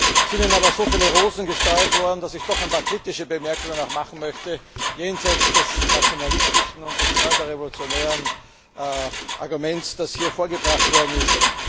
Es sind Ihnen aber so viele Rosen gestreut worden, dass ich doch auch ein paar kritische Bemerkungen machen möchte jenseits des nationalistischen und des pseudorevolutionären Arguments, das hier vorgebracht worden ist.